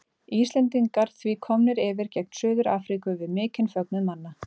Íslendingar því komnir yfir gegn Suður Afríku við mikinn fögnuð manna.